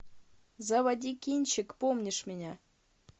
заводи кинчик помнишь меня